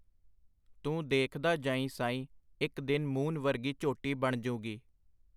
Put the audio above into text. ਤੂੰ ਦੇਖਦਾ ਜਾਈਂ ਸਾਈਂ ਇੱਕ ਦਿਨ ਮੂਨ ਵਰਗੀ ਝੋਟੀ ਬਣਜੂਗੀ.